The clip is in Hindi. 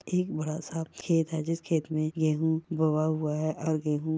एक बड़ा सा खेत है जिस खेत में गेहूं बोआ हुआ है और गेहूं--